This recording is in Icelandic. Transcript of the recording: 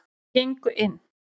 Þau gengu inn.